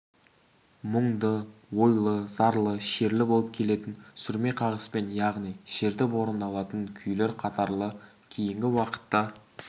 мұңды ойлы зарлы шерлі болып келетін сүрме қағыспен яғни шертіп орындалатын күйлер қатары кейінгі уақытта